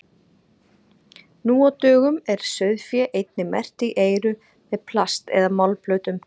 nú á dögum er sauðfé einnig merkt í eyru með plast eða málmplötum